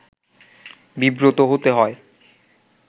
বিব্রত হতে হয়